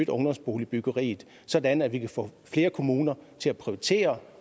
ungdomsboligbyggeriet sådan at vi kan få flere kommuner til at prioritere